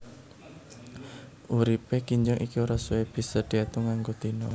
Uripé kinjeng iki ora suwé bisa diétung nganggo dina